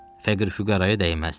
Fəqir-füqaraya dəyməzdi.